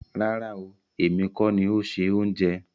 Rárá ooo, èmi kọ́ ni o se ohunjẹ.